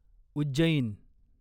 Ujjain